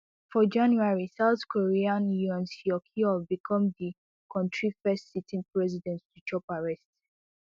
for january south korea yoon suk yeol become di kontri first sitting president to chop arrest